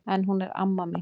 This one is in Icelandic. En hún er amma mín!